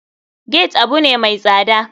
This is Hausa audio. Gate abune mai tsada.